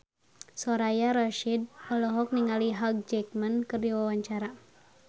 Soraya Rasyid olohok ningali Hugh Jackman keur diwawancara